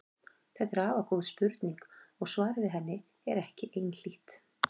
Þetta er afar góð spurning og svarið við henni er ekki einhlítt.